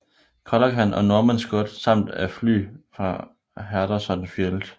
Callaghan og Norman Scott samt af fly fra Henderson Field